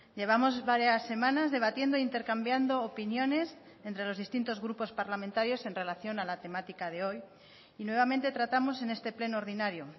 llevamos varias semanas debatiendo intercambiando opiniones entre los distintos grupos parlamentarios en relación a la temática de hoy y nuevamente tratamos en este pleno ordinario